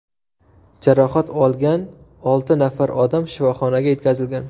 Jarohat olgan olti nafar odam shifoxonaga yetkazilgan.